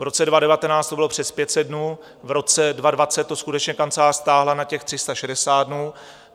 V roce 2019 to bylo přes 500 dnů, v roce 2020 to skutečně kancelář stáhla na těch 360 dnů.